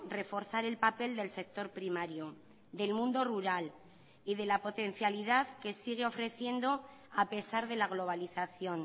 reforzar el papel del sector primario del mundo rural y de la potencialidad que sigue ofreciendo a pesar de la globalización